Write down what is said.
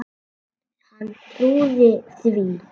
Hann trúði því.